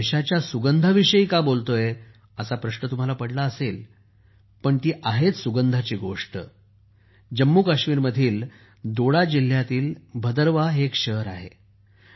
मी यशाच्या सुगंधाविषयी का बोलतोय असा प्रश्न तुम्हाला पडला असेल पण ती आहेच सुगंधाची गोष्ट जम्मूकाश्मीर मधील दोडा जिल्ह्यातील भदरवाह हे एक शहर आहे